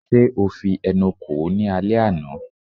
Ṣe o fi ẹnu kò ó ní alẹ́ àná?